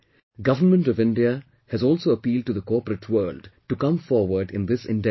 Government of India has also appealed to the corporate world to come forward in this endeavour